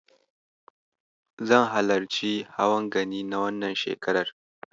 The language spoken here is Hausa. Zan halarci hawan Gani na wannan shekarar.